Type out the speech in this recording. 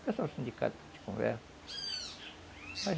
O pessoal do sindicato de conversa.